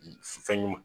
Fɛn ɲuman